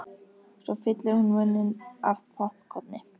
Svo fyllir hún munninn af poppkorni.